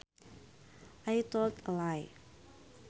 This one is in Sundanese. I told a lie